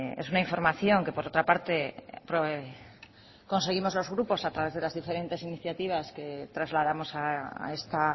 es una información que por otra parte conseguimos los grupos a través de las diferentes iniciativas que trasladamos a esta